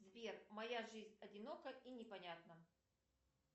сбер моя жизнь одинока и непонятна